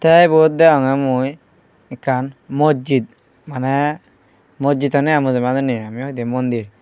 te ibot degonge mui ekkan mojjid mane mojjid honne aai mujurmanune ami hoide mondir.